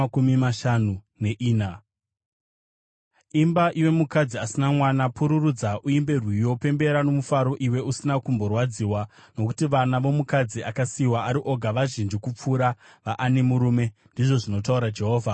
“Imba, iwe mukadzi asina mwana, iwe usina kumbobereka mwana pururudza uimbe rwiyo, pembera nomufaro, iwe usina kumborwadziwa; nokuti vana vomukadzi akasiyiwa ari oga vazhinji kupfuura veane murume,” ndizvo zvinotaura Jehovha.